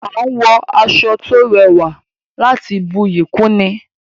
A n wọ aṣọ to rẹwà láti buyi kún ni